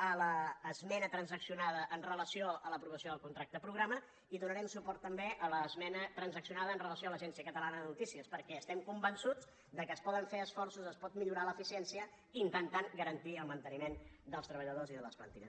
a l’esmena transaccionada amb relació a l’aprovació del contracte programa i donarem suport també a l’esmena transaccionada amb relació a l’agència catalana de notícies perquè estem convençuts que es poden fer esforços es pot millorar l’eficiència intentant garantir el manteniment dels treballadors i de les plantilles